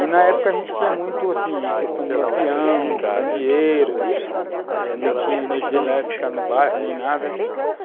E na época a gente tinha muito questão de lampião, candeeiro, não tinha energia elétrica no bairro nem nada.